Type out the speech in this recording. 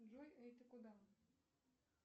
джой эй ты куда